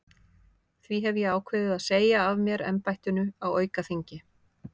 Því hef ég ákveðið að segja af mér embættinu á aukaþingi.